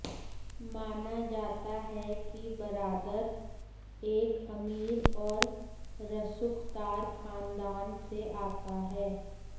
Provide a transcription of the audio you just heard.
माना जाता है कि बरादर एक अमीर और रसूख़दार ख़ानदान से आता है